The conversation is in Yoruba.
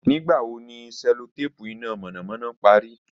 Nigbawo ni cellotape ina mọnamọna pari?